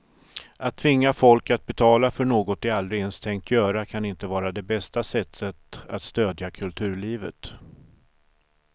Att tvinga folk att betala för något de aldrig ens tänkt göra kan inte vara det bästa sättet att stödja kulturlivet.